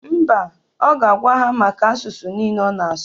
Mba, ọ ga-agwa ya maka asụsụ niile ọ na-asụ.